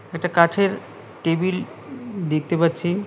একটা কাঠের টেবিল দেখতে পাচ্ছি।